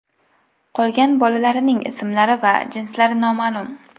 Qolgan bolalarining ismlari va jinslari noma’lum.